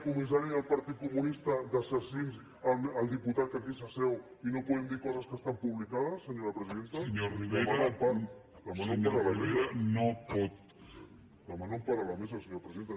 comissari del partit comunista d’assassins al diputat que aquí s’asseu i no podem dir coses que estan publicades senyora presidenta demano empara a la mesa senyora presidenta